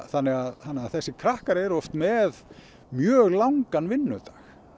þannig að þessir krakkar eru oft með mjög langan vinnudag